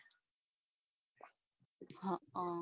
હમ